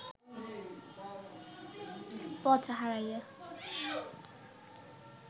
পথ হারাইয়া